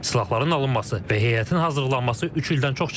Silahların alınması və heyətin hazırlanması üç ildən çox çəkib.